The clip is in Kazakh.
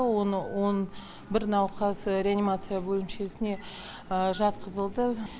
оны он бір науқас реанимация бөлімшесіне жатқызылды